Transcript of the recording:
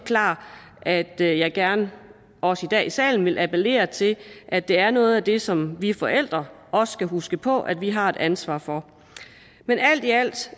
klart at jeg jeg gerne også i dag i salen vil appellere til at det er noget af det som vi forældre også skal huske på at vi har et ansvar for men alt i alt